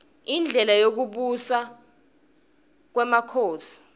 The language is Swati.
indlela yekubusa kwmakhosi